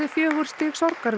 fjögur stig